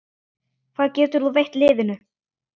Hvað getur þú veitt liðinu?